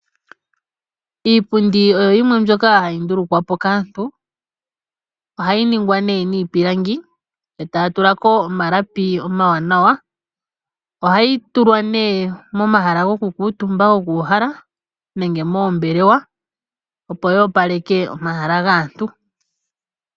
Iipundi oyo yimwe mbyoka hayi ndulu kwapo kaantu. Oha yi ningwa nee niipilangi, eta ya tulako omalapi oma wanawa. Oha yi tulwa nee momahala go ku kuutumba, go kuuhala nenge moombelewa opo yoopaleke omahala gaantu.